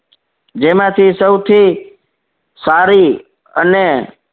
જેમાંથી સૌથી સારી અને